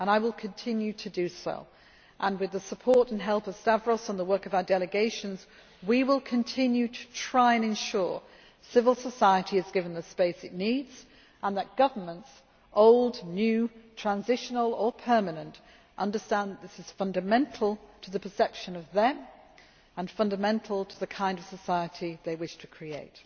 I will continue to do so and, with the support and help of Stavros and the work of our delegations, we will continue to try to ensure that civil society is given the space its needs and that governments old, new, transitional or permanent understand that this is fundamental to the perception of them and fundamental to the kind of society they wish to create.